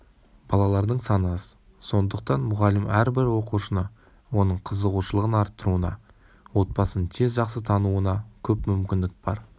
балалардың саны аз сондықтан мұғалім әрбір оқушыны оның қызығушылығын арттыруына отбасын тез жақсы тануына көп мүмкіндік бар